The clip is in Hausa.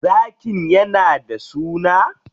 Zakin yana da suna?